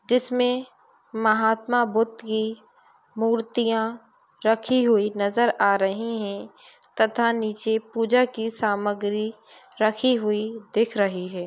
जिसमें महात्मा बुद्ध की मूर्तियां रखी हुई नजर आ रही हैं। तथा नीचे पूजा की समग्री रखी हुई दिख रही है।